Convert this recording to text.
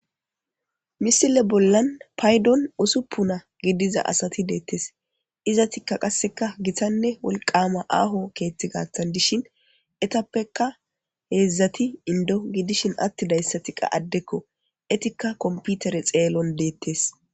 misile bollan paydon usuppuna gidiza asati deettes izatikka qasseka gitanne wolqama aaho keeththi gattan dishin etappeka heedzdzati indo gidishin atti dayssati qa addekko etikka komputere xeelon deettes